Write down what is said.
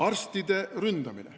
Arstide ründamine.